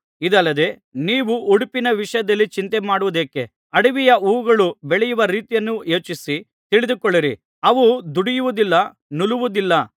ಇದಲ್ಲದೆ ನೀವು ಉಡುಪಿನ ವಿಷಯದಲ್ಲಿ ಚಿಂತೆಮಾಡುವುದೇಕೆ ಅಡವಿಯ ಹೂವುಗಳು ಬೆಳೆಯುವ ರೀತಿಯನ್ನು ಯೋಚಿಸಿ ತಿಳಿದುಕೊಳ್ಳಿರಿ ಅವು ದುಡಿಯುವುದಿಲ್ಲ ನೂಲುವುದಿಲ್ಲ